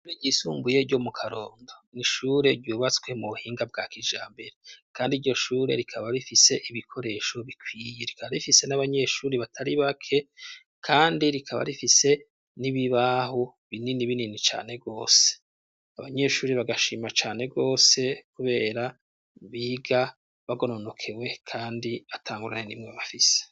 Ishure ryisumbuye ryo mu Karonda. Ni ishure ryubatswe mu buhinga bwa kijambere. Kandi iryo shure rikaba rifise ibikoresho bikwiye. Ryari rifise n'abanyeshure batari bake kandi rikaba rifise n'ibibaho binini binini cane rwose. Abanyeshuri bagashima cane rwose kubera biga bagononokewe kandi atangorane n'imwe bafise.